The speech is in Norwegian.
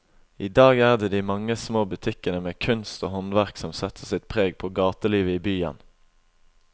I dag er det de mange små butikkene med kunst og håndverk som setter sitt preg på gatelivet i byen.